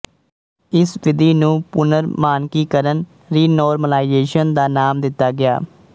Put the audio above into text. ਇਸ ਵਿਧੀ ਨੂੰ ਪੁਨਰਮਾਨਕੀਕਰਨ ਰੀਨੌਰਮਲਾਈਜ਼ੇਸ਼ਨ ਦਾ ਨਾਮ ਦਿੱਤਾ ਗਿਆ